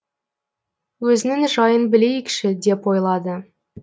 өзінің жайын білейікші деп ойлады